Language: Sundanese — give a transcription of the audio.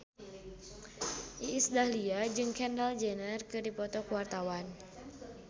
Iis Dahlia jeung Kendall Jenner keur dipoto ku wartawan